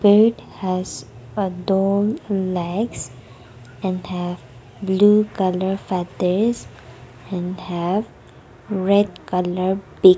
it has a tall legs and have blue colour feathers and have red colour big--